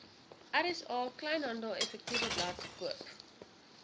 rsa kleinhandeleffektewebblad koop